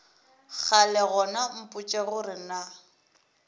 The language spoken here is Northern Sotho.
kgale gona mpotše gore na